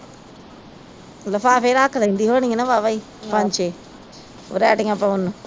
ਲਿਫਾਫੇ ਰੱਖ ਲੈਂਦੀ ਹੋਣੀ ਆ ਨਾ ਵਾਵਾ ਈ ਪੰਜ ਛੇ ਵਰੇਟੀਆ ਪਾਉਣ ਨੂੰ